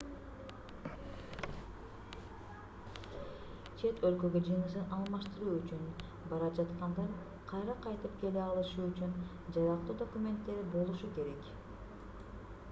чет өлкөгө жынысын алмаштыруу үчүн бара жаткандар кайра кайтып келе алышы үчүн жарактуу документтери болушу керек